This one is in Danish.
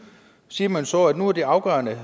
siger man så at det nu er afgørende